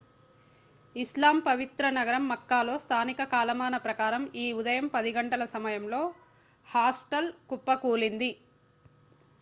ఇస్లాం పవిత్ర నగరం మక్కాలో స్థానిక కాలమానం ప్రకారం ఈ ఉదయం 10 గంటల సమయంలో హాస్టల్ కుప్పకూలింది